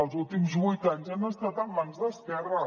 els últims vuit anys ha estat en mans d’esquerra